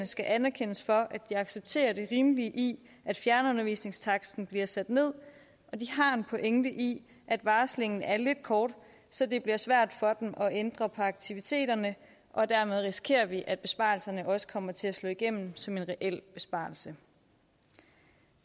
skal anerkendes for at de accepterer det rimelige i at fjernundervisningstaksten bliver sat ned og de har en pointe i at varslingen er lidt kort så det bliver svært for dem at ændre på aktiviteterne dermed risikerer vi at besparelserne også kommer til at slå igennem som reelle besparelser